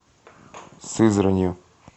сызранью